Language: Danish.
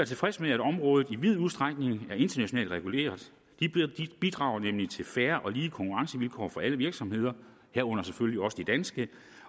tilfredse med at området i vid udstrækning er internationalt reguleret det bidrager nemlig til fair og lige konkurrencevilkår for alle virksomheder herunder selvfølgelig også de danske